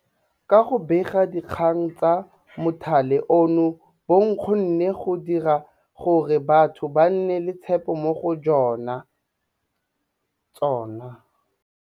Ka go bega dikgang tsa mothale ono bo kgonne go dira gore batho ba nne le tshepo mo go jona.